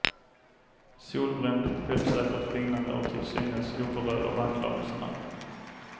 Solbränd, självsäkert flinande och till synes oberörd av anklagelserna.